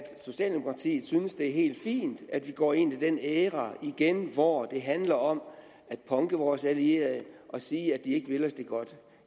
socialdemokratiet synes at det er helt fint at vi går ind i den æra igen hvor det handler om at punke vores allierede og sige at de ikke vil os det godt